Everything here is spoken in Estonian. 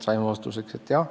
Saime vastuseks, et jah.